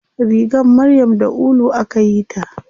Rigar maryam da ulu akayi ta.